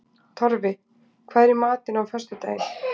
Torfi, hvað er í matinn á föstudaginn?